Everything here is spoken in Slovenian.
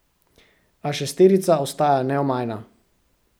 A šesterica ostaja neomajna.